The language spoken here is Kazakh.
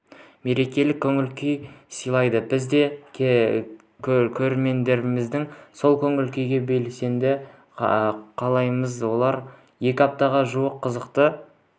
мерекелік көңіл-күй сыйлайды біз де көрермендеріміздің сол көңіл-күйге бөленгенін қалаймыз олар екі аптаға жуық қызықты